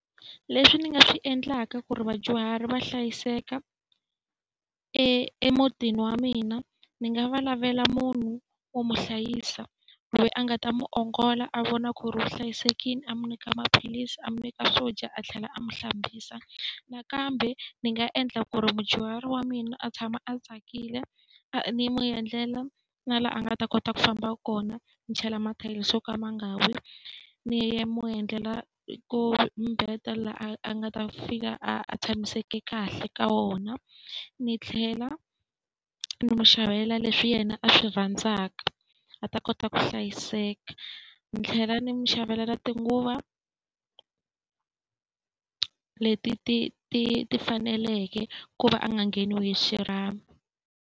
Leswi ni nga swi endlaka ku ri vadyuhari va hlayiseka emutini wa mina, ni nga va lavela munhu wo n'wi hlayisa, loyi a nga ta n'wi ongola a vona ku ri u hlayisekile. A n'wi nyika maphilisi, a n'wi nyika swo dya, a tlhela a n'wi hlambisa. Nakambe ndzi nga endla ku ri mudyuhari wa mina a tshama a tsakile, a ni n'wi endlela na laha a nga ta kota ku famba kona, ni chela yo ka ma nga wi, ni ya ni ya n'wi endlela ko mi laha a nga ta fika a a tshamiseke kahle ka wona. Ni tlhela ni n'wi xavela leswi yena a swi rhandzaka a ta kota ku hlayiseka. Ni tlhela ni n'wi xavela na tinguvu leti ti ti ti faneleke ku va a nga ngheniwi hi xirhami.